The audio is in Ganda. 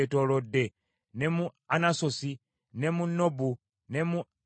ne mu Anasosi, ne mu Nobu, ne mu Ananiya,